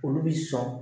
Olu bi sɔn